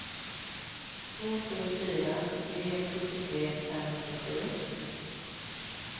två sju fyra tre sjuttiotre femhundrasju